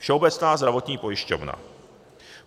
Všeobecná zdravotní pojišťovna.